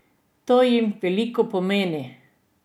To jim veliko pomeni.